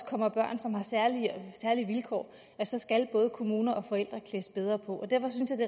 kommer børn som har særlige vilkår skal både kommuner og forældre klædes bedre på derfor synes jeg